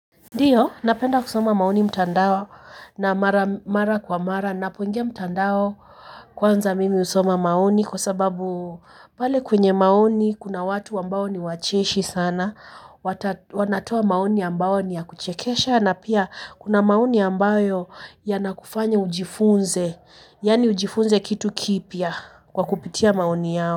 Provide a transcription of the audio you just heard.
Ndiyo, napenda kusoma maoni mtandao. Na mara kwa mara ninapoingia mtandao, kwanza mimi husoma maoni kwa sababu pale kwenye maoni kuna watu ambao ni wacheshi sana, wanatoa maoni ambayo ni ya kuchekesha na pia kuna maoni ambayo yanakufanya ujifunze, yaani ujifunze kitu kipya kwa kupitia maoni yao.